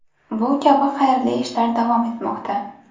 Bu kabi xayrli ishlar davom etmoqda.